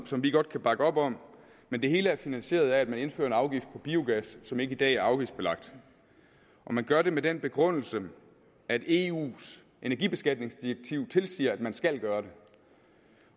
som vi godt kan bakke op om men det hele er finansieret af at man indfører en afgift på biogas som ikke i dag er afgiftsbelagt og man gør det med den begrundelse at eus energibeskatningsdirektiv tilsiger at man skal gøre